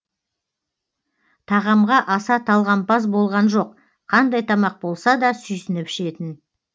тағамға аса талғампаз болған жоқ қандай тамақ болса да сүйсініп ішетін